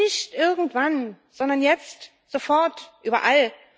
Nicht irgendwann, sondern jetzt, sofort, überall.